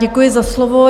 Děkuji za slovo.